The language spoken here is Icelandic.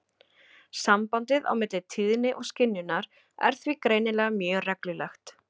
Sambandið á milli tíðni og skynjunar er því greinilega mjög reglulegt.